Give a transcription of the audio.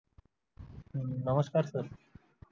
नमस्कार सर